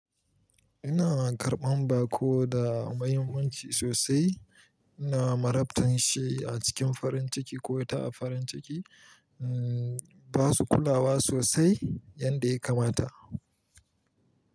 Ina karɓan bako da mahimmanci sosai. Ina marabtan shi a cikin farin ciki ko ita a farin ciki. Ba su kulawa sosai yadda ya kamata.